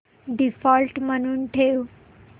default म्हणून ठेव